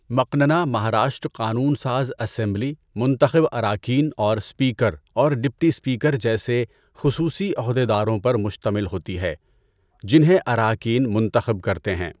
مقننہ، مہاراشٹر قانون ساز اسمبلی، منتخب اراکین اور سپیکر اور ڈپٹی سپیکر جیسے خصوصی عہدیداروں پر مشتمل ہوتی ہے، جنہیں اراکین منتخب کرتے ہیں۔